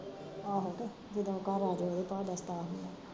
ਆਹੋ ਕੇ ਜਦੋਂ ਘਰ ਆਜੇ ਓਦੇ ਭਾਅ ਦਾ ਸਤਾਅ ਹੋਇਆ